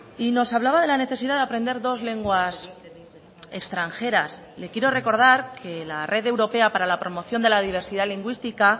y nos hablaba de la necesidad de aprender dos lenguas extranjeras le quiero recordar que la red europea para la promoción de la diversidad lingüística